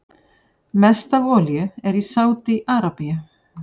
Mest af olíu er í Sádi-Arabíu.